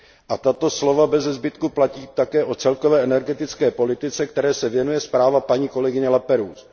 A tato slova beze zbytku platí také o celkové energetické politice, které se věnuje zpráva paní kolegyně Laperrouzeové.